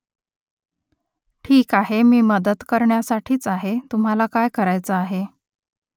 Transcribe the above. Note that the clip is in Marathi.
ठीक आहे मी मदत करण्यासाठीच आहे तुम्हाला काय करायचं आहे ?